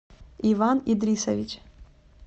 иван идрисович